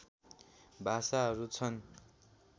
भाषाहरू छन्